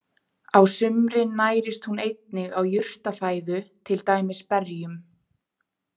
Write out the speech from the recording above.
Á sumrin nærist hún einnig á jurtafæðu, til dæmis berjum.